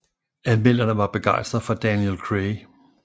Anmelderne var begejstrede for Daniel Craig